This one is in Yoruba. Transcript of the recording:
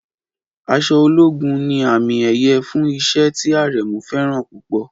Aṣọ ológun ní àmì-ẹ̀yẹ fún iṣẹ́ tí Aremu fẹ́ràn púpọ̀.